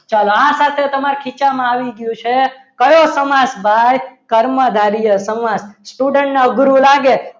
ચલો આ સાથે તમારા ખીચામાં આવી ગયું છે કયો સમાસ ભાઈ કર્મધાર્ય સમાસ student ના ગુરુ લાગે